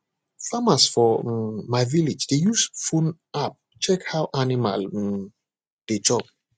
farmers for um my village dey use phone app check how animal um dey chop